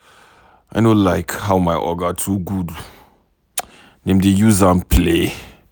I no like how my Oga too good. Dem dey use am play.